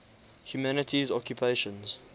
humanities occupations